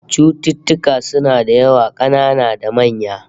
Cututtuka suna da yawa, kanana da manya